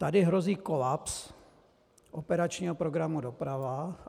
Tady hrozí kolaps operačního programu Doprava.